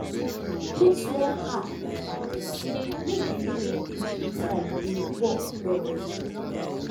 put small ash inside ground make the living things inside dey work well